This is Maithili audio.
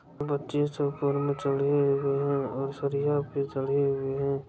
बच्चे सब ऊपर में चढ़े हुए हैं और सरिया पे चढ़े हुए हैं।